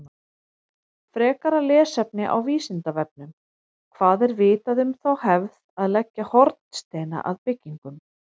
Frekara lesefni á Vísindavefnum: Hvað er vitað um þá hefð að leggja hornsteina að byggingum?